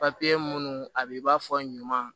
Papiye minnu a b'i b'a fɔ ɲuman